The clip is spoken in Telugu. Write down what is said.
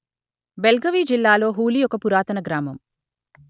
బెల్గవి జిల్లాలో హూలి ఒక పురాతన గ్రామం